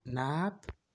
Naat?